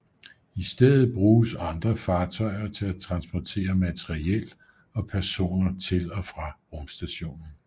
I stedet bruges andre fartøjer til at transportere materiel og personer til og fra rumstationen